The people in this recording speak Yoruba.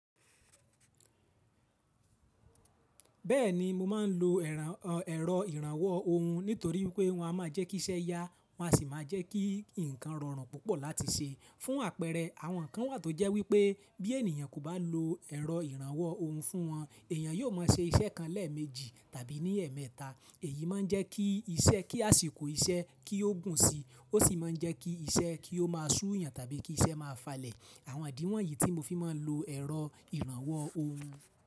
Bẹ́ẹ̀ni, mo máa ń lo ẹ̀rọ ìrànwọ́ ohun nítorí pé wọn a máa jẹ́kí iṣẹ́ ya, wọ́n sì máa jẹ́kí ǹkan rọrùn púpọ̀ láti ṣe. Fún àpẹẹrẹ, àwọn kan wà tó jẹ́ wípé bí ènìyàn kò bá lo ẹ̀rọ ìrànwọ́ ohun fún wọn, èèyàn yóò máa ṣe iṣẹ́ kan lẹ́ẹ̀mejì tàbí ní ẹ̀ẹ̀mẹ́ta. Èyí máa ń jẹ́ kí àṣìkò iṣẹ́ kí ó gùn si, ó sì máa ń jẹ́ kí iṣẹ́ kí ó máa súyàn tàbí kí iṣẹ́ máa falẹ̀. Àwọn àdíwọ̀n yìí tí mo fi máa ń lo ẹ̀rọ ìrànwọ́ ohun.